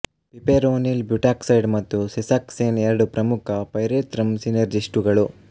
piperonyl butoxide ಮತ್ತು sesoxane ಎರಡು ಪ್ರಮುಖ ಪೈರೆತ್ರಮ್ ಸಿನೆರ್ಜಿಸ್ಟುಗಳು